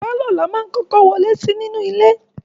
Pàlọ́ ni a máá ń kọ́kọ́ wọlé sí nínú ilé